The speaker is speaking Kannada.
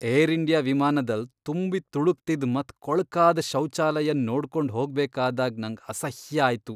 ಏರ್ ಇಂಡಿಯಾ ವಿಮಾನದಲ್ ತುಂಬಿ ತುಳ್ಕುತ್ತಿದ್ ಮತ್ ಕೊಳ್ಕಾದ ಶೌಚಾಲಯನ್ ನೋಡ್ಕೊಂಡ್ ಹೋಗ್ಬೇಕಾದಾಗ್ ನಂಗ್ ಅಸಹ್ಯ ಆಯ್ತು.